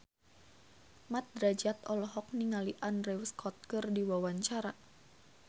Mat Drajat olohok ningali Andrew Scott keur diwawancara